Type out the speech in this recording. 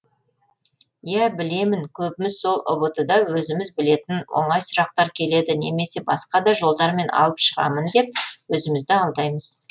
ия білемін көбіміз сол ұбт да өзіміз білетін оңай сұрақтар келеді немесе басқа да жолдармен алып шығамын деп өзімізді алдаймыз